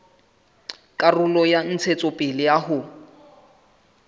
karolo ya tshebetso ya ho